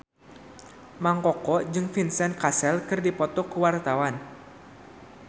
Mang Koko jeung Vincent Cassel keur dipoto ku wartawan